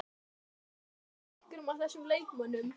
Hafið þið gleymt einhverjum af þessum leikmönnum?